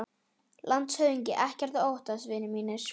LANDSHÖFÐINGI: Ekkert að óttast, vinir mínir.